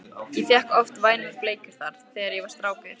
Ég fékk oft vænar bleikjur þar, þegar ég var strákur